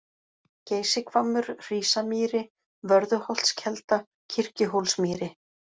Geysishvammur, Hrísamýri, Vörðuholtskelda, Kirkjuhólsmýri